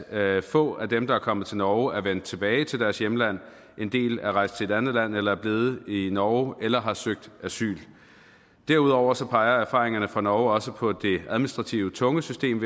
at få af dem der er kommet til norge er vendt tilbage til deres hjemland en del er rejst til et andet land eller er blevet i norge eller har søgt asyl derudover peger erfaringerne fra norge også på det administrativt tunge system